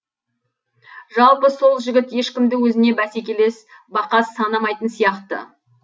жалпы сол жігіт ешкімді өзіне бәсекелес бақас санамайтын сияқты